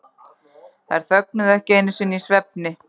Þær þögnuðu ekki einu sinni í svefni.